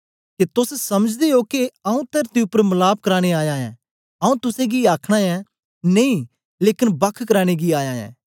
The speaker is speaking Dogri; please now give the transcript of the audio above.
के तोस समझदे ओ के आऊँ तरती उपर मलाप कराने आया ऐं आऊँ तुसेंगी आखना ऐं नेई लेकन बख कराने गी आया ऐं